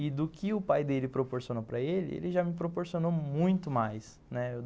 E do que o pai dele proporcionou para ele, ele já me proporcionou muito mais, né.